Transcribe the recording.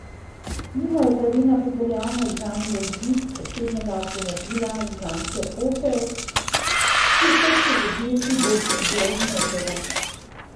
Mimo je pravilno pripeljal neznani voznik osebnega avtomobila znamke Opel, ki je trčil v desni bočni del mopeda.